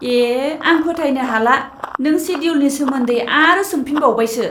ए!, आं फोथायनो हाला नों सेडिउलनि सोमोन्दै आरो सोंफिनबावबायसो!